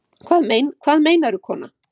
Hvað meinarðu kona?